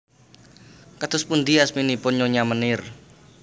Kados pundi asminipun Nyonya Meneer